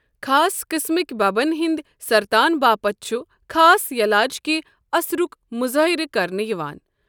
خاص قٕسمٕكہِ بببن ہندِ سرتان باپتھ چھُ خاص یلاجِکہِ اثرُک مظٲہرٕ کرنہٕ یِوان۔